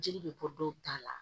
Jeli bɛ bɔ dɔw ta la